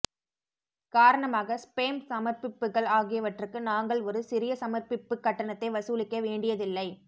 காரணமாக ஸ்பேம் சமர்ப்பிப்புகள் ஆகியவற்றுக்கு நாங்கள் ஒரு சிறிய சமர்ப்பிப்பு கட்டணத்தை வசூலிக்க வேண்டியதில்லை